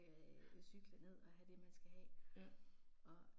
Ja. Ja